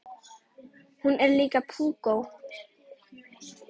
Hún er líka púkó.